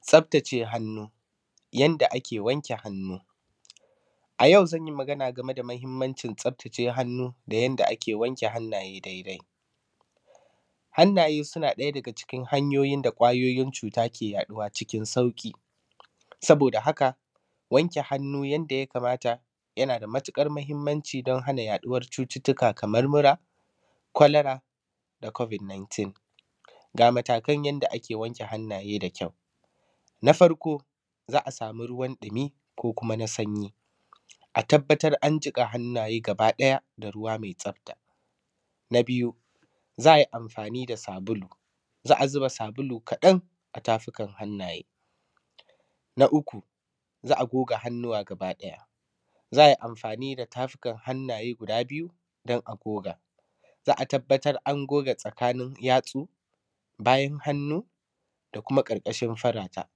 tsaftace hannu yanda ake wanke hannu a yau zan yi magana game da muhimmancin tsaftace hannu da yanda ake wanke hannaye daidai hannaye suna ɗaya daga cikin hanyoyin da ƙwayoyin cuta ke yaɗuwa cikin sauƙi saboda haka wanke hannu yadda ya kamata yana da matuƙar muhimmanci don hana yaɗuwar cututtuka kamar mura cholera da covid 19 ga matakan yadda ake wanke hannaye da kyau na farko za a samu ruwan ɗumi ko kuma na sanyi a tabbatar an jiƙa hannaye gaba ɗaya da ruwa mai tsafta na biyu za a yi amfani da sabulu za a zuba sabulu kaɗan a tafukan hannaye na uku za a goga hannuwa gaba ɗaya za a yi amfani da tafukan hannaye guda biyu don a goga za a tabbatar an goga tsakanin yatsu bayan hannu da kuma ƙarƙashin furata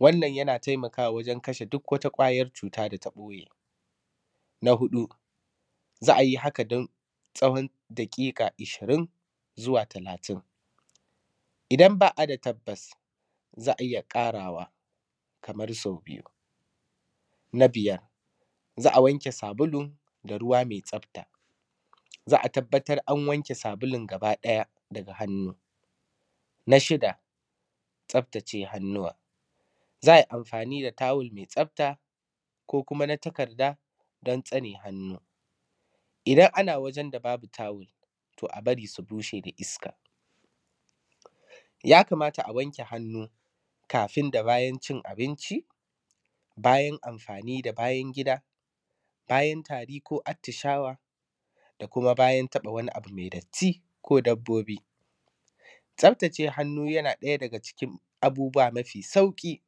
wannan yana taimakawa wajen kashe duk wata ƙwayar cuta da ta ɓoye na huɗu za a yi haka don tsawon daƙiƙa ishirin zuwa talatin idan ba a da tabbas za a iya ƙarawa kamar sau biyu na biyar za a wanke sabulu da ruwa mai tsafta za a tabbatar an wanke sabulun gaba ɗaya daga hannu na shida tsaftace hannuwa za a yi amfani da tawul mai tsafta ko kuma na takarda don tsane hannu idan ana wajen da babu tawul to a bari su bushe da iska ya kamata a wanke hannu kafin da bayan cin abinci bayan amfani da bayan gida bayan tari ko atishawa da kuma bayan taɓa wani abu mai datti ko dabbobi tsaftace hannu yana daga cikin abubuwa mafi sauƙi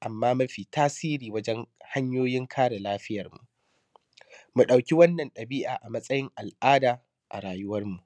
amma mafi tasiri wajen hanyoyin kare lafiyarmu mu ɗauki wannan ɗabi’a a matsayin al’ada a rayuwarmu